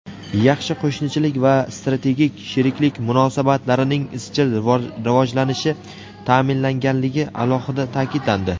yaxshi qo‘shnichilik va strategik sheriklik munosabatlarining izchil rivojlanishi ta’minlanganligi alohida ta’kidlandi.